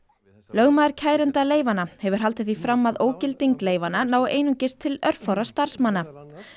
lögmaður kærenda leyfanna hefur haldið því fram að ógilding leyfanna nái einungis til örfárra starfsmanna